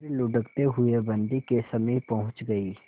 फिर लुढ़कते हुए बन्दी के समीप पहुंच गई